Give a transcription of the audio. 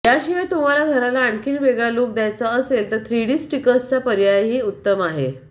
याशिवाय तुम्हाला घराला आणखी वेगळा लूक द्यायचा असेल तर थ्रीडी स्टिकर्सचा पर्यायही उत्तम आहे